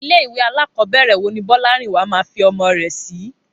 Ilé ìwé alákọ̀ọ́bẹ̀rẹ̀ wo ni Bọ́lárìnwá máa fi ọmọ rẹ̀ sí?